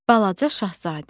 Balaca Şahzadə.